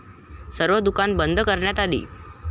सर्व दुकानं बंद कऱण्यात आली.